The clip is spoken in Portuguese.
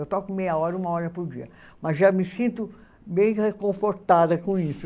Eu toco meia hora, uma hora por dia, mas já me sinto bem reconfortada com isso